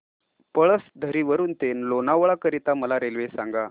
पळसधरी वरून ते लोणावळा करीता मला रेल्वे सांगा